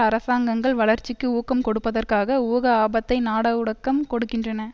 அரசாங்கங்கள் வளர்ச்சிக்கு ஊக்கம் கொடுப்பதற்காக ஊக ஆபத்தை நாட ஊடக்கம் கொடுக்கின்றன